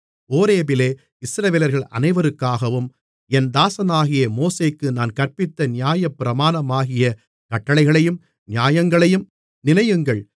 ஓரேபிலே இஸ்ரவேலர்கள் அனைவருக்காகவும் என் தாசனாகிய மோசேக்கு நான் கற்பித்த நியாயப்பிரமாணமாகிய கட்டளைகளையும் நியாயங்களையும் நினையுங்கள்